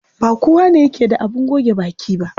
Ba kowane yake da abin goge baki ba.